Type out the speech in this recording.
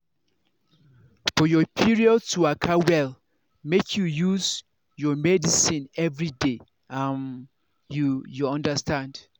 for your period to waka wel make you use your medicines everyday. um you you understand!